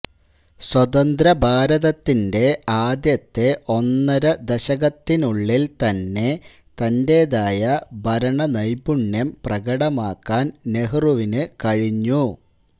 സ്വതന്ത്ര ഭാരതത്തിന്റെ ആദ്യത്തെ ഒന്നര ദശകത്തിനുള്ളിൽ തന്നെ തന്റേതായ ഭരണനൈപുണ്യം പ്രകടമാക്കാൻ നെഹ്റുവിന് കഴിഞ്ഞു